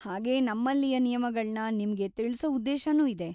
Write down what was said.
ಹಾಗೇ ನಮ್ಮಲ್ಲಿಯ ನಿಯಮಗಳ್ನ ನಿಮ್ಗೆ ತಿಳ್ಸೋ ಉದ್ದೇಶನೂ ಇದೆ.